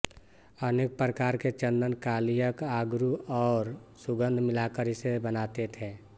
अनेक प्रकार के चंदन कालीयक अगरु और सुगंध मिलाकर इसे बनाते थे